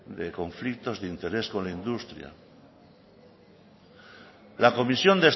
de conflictos de interés con la industria la comisión